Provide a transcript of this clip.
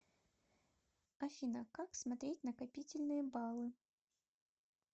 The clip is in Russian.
афина как смотреть накопительные баллы